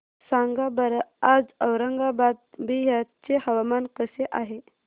सांगा बरं आज औरंगाबाद बिहार चे हवामान कसे आहे